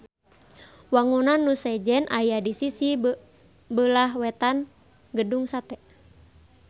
Wangunan nu sejen aya di sisi beulah wetan Gedung Sate